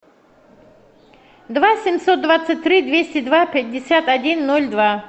два семьсот двадцать три двести два пятьдесят один ноль два